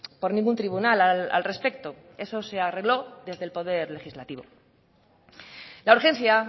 por ningún tribunal al respecto eso se arregló desde el poder legislativo la urgencia